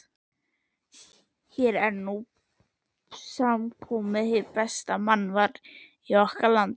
Hér er nú samankomið hið besta mannval í okkar landi.